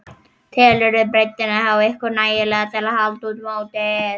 Telurðu breiddina hjá ykkur nægilega til að halda út mótið?